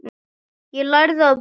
Ég lærði að blóta.